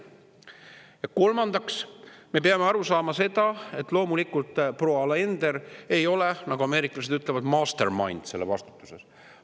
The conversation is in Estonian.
Ja kolmandaks, me peame aru saama seda, et loomulikult proua Alender ei ole, nagu ameeriklased ütlevad, mastermind selles vastutuses.